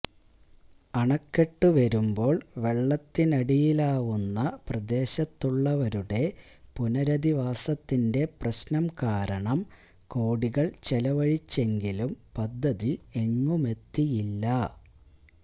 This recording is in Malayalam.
അണക്കെട്ടു വരുമ്പോൾ വെള്ളത്തിനടിയിലാവുന്ന പ്രദേശത്തുള്ളവരുടെ പുനരധിവാസത്തിന്റെ പ്രശ്നം കാരണം കോടികൾ ചെലവഴിച്ചെങ്കിലും പദ്ധതി എങ്ങുമെത്തിയില്ല